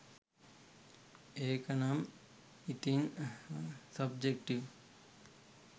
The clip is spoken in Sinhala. ඒකනම් ඉතින් සබ්ජෙක්ටිව්.